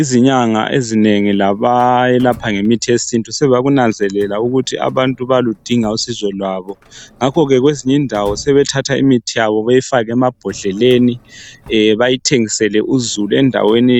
Izinyanga ezinengi labayelapha ngemithi yesintu sebakunanzelela ukuthi abantu bayaludinga usizo lwabo, ngakho kwezinye indawo sebethatha imithi yabo bayifake emambhodleleni bayithengisele uzulu endaweni